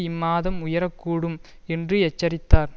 இம்மாதம் உயர கூடும் என்று எச்சரித்தார்